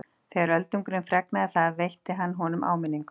Þegar Öldungurinn fregnaði það veitti hann honum áminningu.